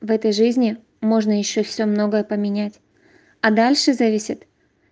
в этой жизни можно ещё всё многое поменять а дальше зависит